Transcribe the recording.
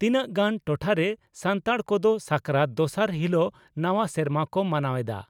ᱛᱤᱱᱟᱝᱜᱟᱱ ᱴᱚᱴᱷᱟᱨᱮ ᱥᱟᱱᱛᱟᱲ ᱠᱚᱫᱚ ᱥᱟᱠᱨᱟᱛ ᱫᱚᱥᱟᱨ ᱦᱤᱞᱚᱜ ᱱᱟᱣᱟ ᱥᱮᱨᱢᱟ ᱠᱚ ᱢᱟᱱᱟᱣ ᱮᱫᱼᱟ ᱾